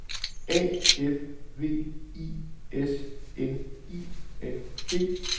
A F V I S N I N G